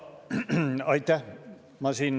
Aitäh!